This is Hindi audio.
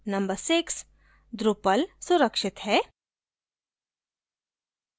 number 6: drupal सुरक्षित है